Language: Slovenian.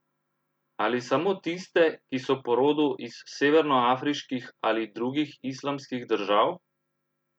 Ali samo tiste, ki so po rodu iz severnoafriških ali drugih islamskih držav?